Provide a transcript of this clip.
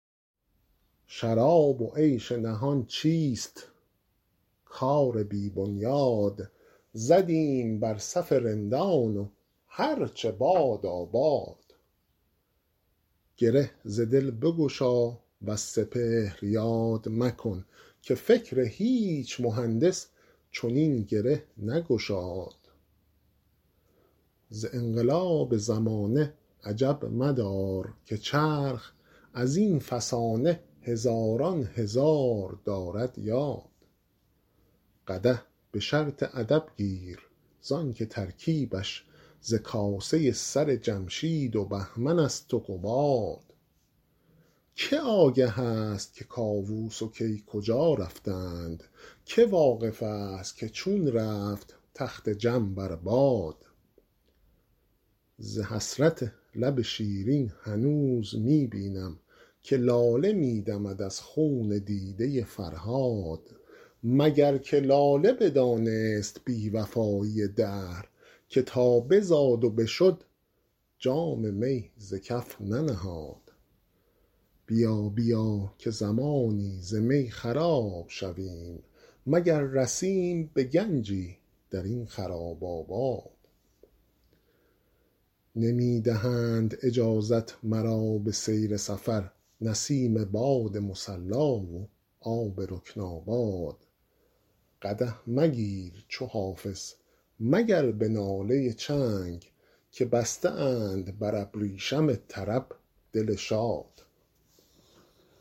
شراب و عیش نهان چیست کار بی بنیاد زدیم بر صف رندان و هر چه بادا باد گره ز دل بگشا وز سپهر یاد مکن که فکر هیچ مهندس چنین گره نگشاد ز انقلاب زمانه عجب مدار که چرخ از این فسانه هزاران هزار دارد یاد قدح به شرط ادب گیر زان که ترکیبش ز کاسه سر جمشید و بهمن است و قباد که آگه است که کاووس و کی کجا رفتند که واقف است که چون رفت تخت جم بر باد ز حسرت لب شیرین هنوز می بینم که لاله می دمد از خون دیده فرهاد مگر که لاله بدانست بی وفایی دهر که تا بزاد و بشد جام می ز کف ننهاد بیا بیا که زمانی ز می خراب شویم مگر رسیم به گنجی در این خراب آباد نمی دهند اجازت مرا به سیر سفر نسیم باد مصلا و آب رکن آباد قدح مگیر چو حافظ مگر به ناله چنگ که بسته اند بر ابریشم طرب دل شاد